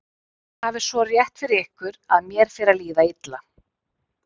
Þið hafið svo rétt fyrir ykkur að mér fer að líða illa.